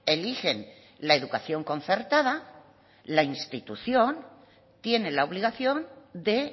eligen la educación concertada la institución tiene la obligación de